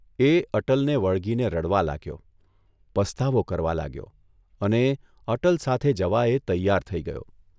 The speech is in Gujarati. એ અટલને વળગીને રડવા લાગ્યો, પસ્તાવો કરવા લાગ્યો, અને અટલ સાથે જવા એ તૈયાર થઇ ગયો.